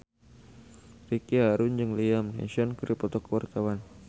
Ricky Harun jeung Liam Neeson keur dipoto ku wartawan